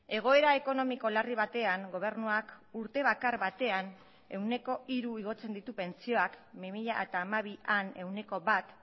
egoera ekonomiko larri batean gobernuak urte bakar batean ehuneko hiru igotzen ditu pentsioak bi mila hamabian ehuneko bat